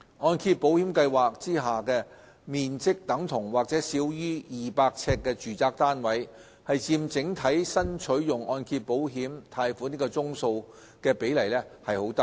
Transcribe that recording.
按保計劃下面積等同或少於200呎的住宅單位佔整體新取用按揭保險貸款宗數的比例偏低。